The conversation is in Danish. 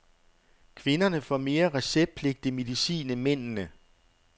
Kvinderne får mere receptpligtig medicin end mændene.